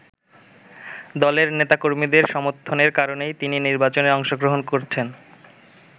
দলের নেতা-কর্মীদের সমর্থনের কারণেই তিনি নির্বাচনে অংশগ্রহণ করছেন।